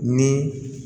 Ni